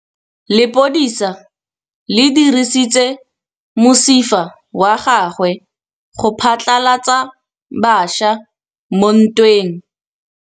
Lepodisa le dirisitse mosifa wa gagwe go phatlalatsa batšha mo ntweng.